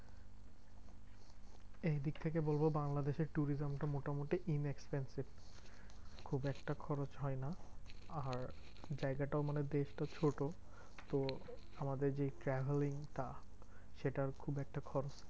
এইদিক থেকে বলবো বাংলাদেশের tourism টা মোটামুটি inexpensive. খুব একটা খরচ হয় না। আর জায়গাটাও মানে বেশ তো ছোট তো আমাদের যেই travelling টা সেটার খুব একটা খরচ